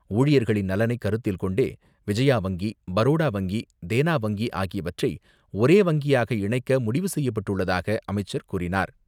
ஊழியர்களின் நலனைக் கருத்தில் கொண்டே, விஜயா வங்கி, பரோடா வங்கி, தேனா வங்கி ஆகியவற்றை ஒரே வங்கியாக இணைக்க முடிவு செய்யப்பட்டுள்ளதாக அமைச்சர் கூறினார்.